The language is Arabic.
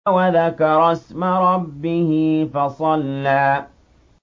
وَذَكَرَ اسْمَ رَبِّهِ فَصَلَّىٰ